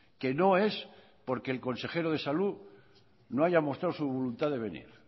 que no es porque el consejero de salud no halla mostrado su voluntad de venir